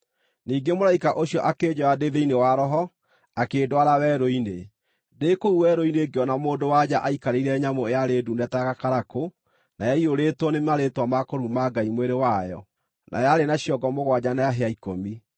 Ningĩ mũraika ũcio akĩnjoya ndĩ thĩinĩ wa Roho, akĩndwara werũ-inĩ. Ndĩ kũu werũ-inĩ ngĩona mũndũ-wa-nja aikarĩire nyamũ yarĩ ndune ta gakarakũ, na yaiyũrĩtwo nĩ marĩĩtwa ma kũruma Ngai mwĩrĩ wayo, na yarĩ na ciongo mũgwanja na hĩa ikũmi.